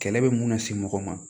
Kɛlɛ bɛ mun na se mɔgɔ ma